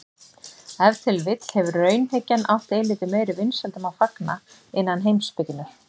Ef til vill hefur raunhyggjan átt eilítið meiri vinsældum að fagna innan heimspekinnar.